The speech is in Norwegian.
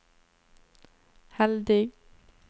heldig